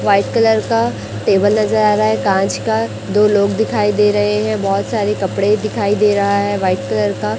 white colour का table नज़र आ रा है कांच का दो लोग दिखाई दे रहे है बहोत सारे कपड़े दिखाई दे रहा है वाइट कलर का --